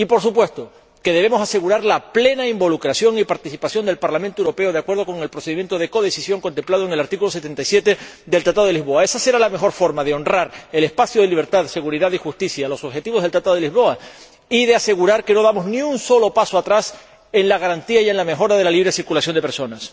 Y, por supuesto, debemos asegurar la plena involucración y participación del Parlamento Europeo, de acuerdo con el procedimiento de codecisión contemplado en el artículo 77 del Tratado de Lisboa. Esa será la mejor forma de honrar el espacio de libertad, seguridad y justicia y los objetivos del Tratado de Lisboa, y de asegurar que no damos ni un solo paso atrás en la garantía y en la mejora de la libre circulación de personas.